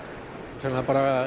það er bara